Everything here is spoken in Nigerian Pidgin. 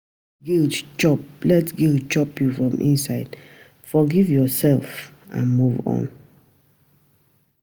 No let guilt chop let guilt chop you from inside, forgive yourself and move on